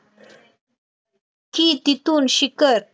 कि तिथून शिखर,